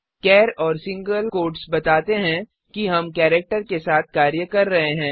चार और single quotes बताते हैं कि हम केरेक्टर के साथ कार्य कर रहे हैं